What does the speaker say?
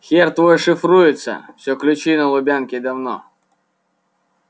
хер твой шифруется все ключи на лубянке давно